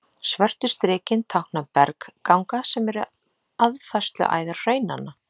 Svörtu strikin tákna bergganga, sem eru aðfærsluæðar hraunanna.